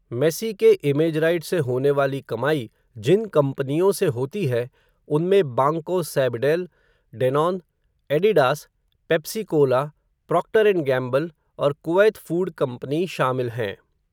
Messi के image rights से होने वाली कमाई, जिन कंपनियों से होती है, उनमें, Banco Sabadell, Danone, Adidas, Pepsi Cola, Procter and Gamble, और कुवैत फ़ूड कंपनी शामिल हैं.